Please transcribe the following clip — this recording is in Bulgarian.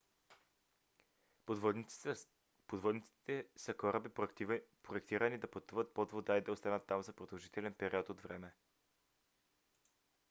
подводниците са кораби проектирани да пътуват под вода и да останат там за продължителен период от време